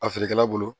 A feerekɛla bolo